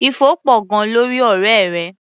Ifo pọ̀ gan-an lórí ọ̀rẹ́ rẹ.